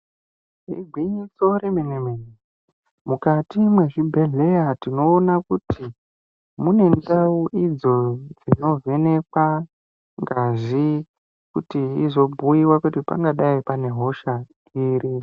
Igwinyiso remene mene, mukwati mezvibhedhleya tinoona kuti mune ndau idzo dzinovhenekwa ngazi kuti izobhuyiwa kuti pangadai pane hosha iri.